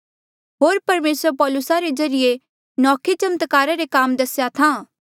होर परमेसर पौलुसा रे ज्रीए नौखे चमत्कारा रे काम दस्हा था